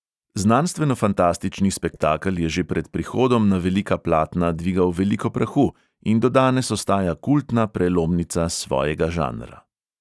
Znanstvenofantastični spektakel je že pred prihodom na velika platna dvigal veliko prahu in do danes ostaja kultna prelomnica svojega žanra.